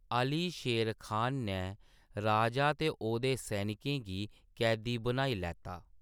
अली शेर खान नै राजा ते ओह्‌‌‌दे सैनिकें गी कैद्दी बनाई लैत्ता।